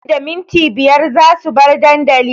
Nan da minti biyar za su bar dandali